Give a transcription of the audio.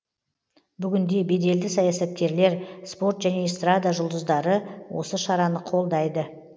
бүгінде беделді саясаткерлер спорт және эстрада жұлдыздары осы шараны қолдайды